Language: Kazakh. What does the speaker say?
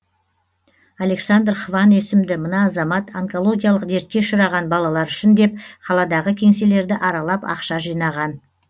александр хван есімді мына азамат онкологиялық дертке ұшыраған балалар үшін деп қаладағы кеңселерді аралап ақша жинаған